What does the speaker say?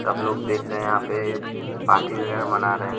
सब लोग देख रहे है यहाँ पे पार्टी वगैरह मना रहे है।